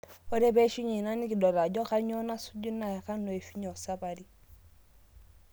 Ore peishunye ina nekidol ajo kanyoo nasuju naa kanu eishunye esapari